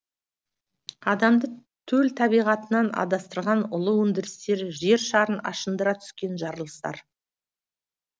адамды төл табиғатынан улы өндірістер жершарын ашындыра түскен жарылыстар